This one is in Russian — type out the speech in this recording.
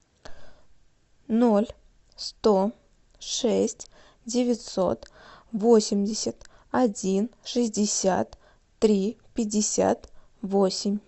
ноль сто шесть девятьсот восемьдесят один шестьдесят три пятьдесят восемь